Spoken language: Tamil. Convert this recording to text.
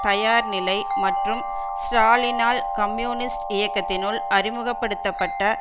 தயார் நிலை மற்றும் ஸ்ராலினால் கம்யூனிஸ்ட் இயக்கத்தினுள் அறிமுக படுத்த பட்ட